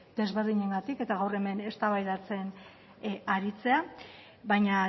desberdinengatik eta gaur hemen eztabaidatzen aritzea baina